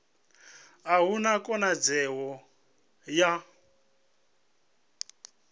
a hu na khonadzeo ya